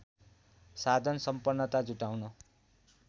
साधन सम्पन्नता जुटाउन